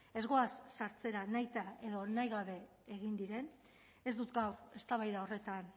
ez goaz sartzera nahita edo nahi gabe egin diren ez dut gaur eztabaida horretan